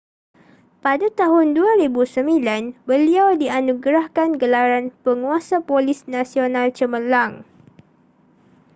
pada tahun 2009 beliau dianugerahkan gelaran penguasa polis nasional cemerlang